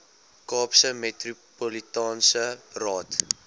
kaapse metropolitaanse raad